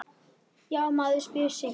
Já, maður spyr sig?